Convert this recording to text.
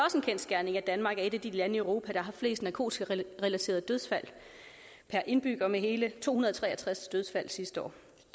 et af de lande i europa der har flest narkotikarelaterede dødsfald per indbygger med hele to hundrede og tre og tres dødsfald sidste år